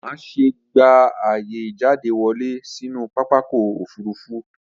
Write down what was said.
Má ṣe gba ààyè ìjáde wọlé sínú pápakọ̀ òfurufú